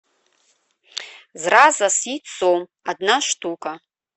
зраза с яйцом одна штука